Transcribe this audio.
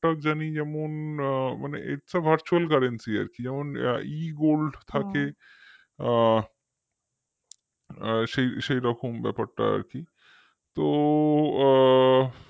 জানি যেমন মানে itsavirtualcurrency আর কি যেমন egold থাকে আ সেই সেই রকম ব্যাপারটা আর কি তো আ